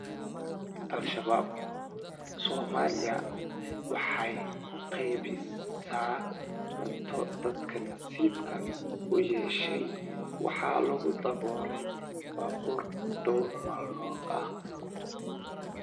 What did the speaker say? Al-Shabaab “Soomaaliya waxay u qeybisaa cunto” Dadka nasiibka u yeeshay waxaa lagu daabulay baabuur dhowr maalmood ah.